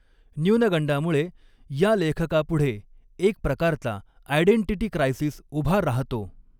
न्युनगंडामुळे या लेखकापुढे एक प्रकारचा आयडेंटिटी क्रायसिस उभा राहतो.